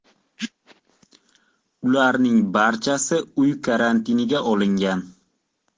Ularning barchasi uy karantiniga olingan.